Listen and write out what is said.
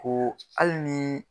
Ko ali ni.